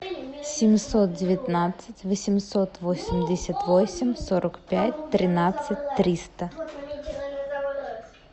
семьсот девятнадцать восемьсот восемьдесят восемь сорок пять тринадцать триста